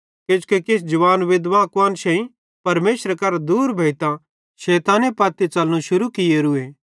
किजोकि किछ जवान विधवां कुआन्शेईं परमेशरे करां दूर भोइतां शैताने पत्ती च़लनू शुरू कियोरू